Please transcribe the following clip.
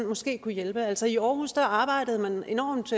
måske kunne hjælpe altså i aarhus arbejdede man enormt